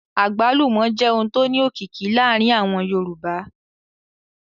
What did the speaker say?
Àgbálùmọ́ jẹ́ ohun tó ní òkìkí láàárín àwọn Yorùbá